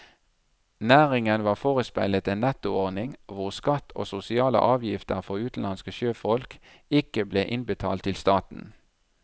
Næringen var forespeilet en nettoordning hvor skatt og sosiale avgifter for utenlandske sjøfolk ikke ble innbetalt til staten.